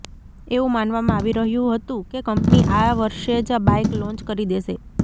એવું માનવામાં આવી રહ્યું હતું કે કંપની આ વર્ષે જ આ બાઇક લોંચ કરી દેશે